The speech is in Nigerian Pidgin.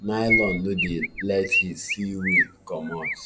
nylon no dey let heat see way comot